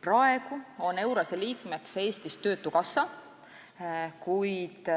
Praegu on EURES-e liikmeks Eestis töötukassa, kuid